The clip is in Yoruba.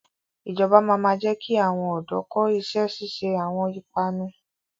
Ìjọba máa ma jẹ ki àwọn ọ̀dọ́ kọ́ ìṣẹ́ ṣíṣe àwọn ìpanu